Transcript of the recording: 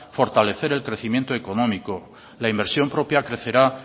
fortalecer el crecimiento económico la inversión propia crecerá